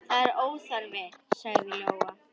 Það er óþarfi, sagði Lóa.